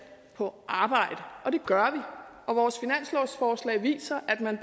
på arbejde og det gør og vores finanslovsforslag viser at man